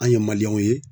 An ye ye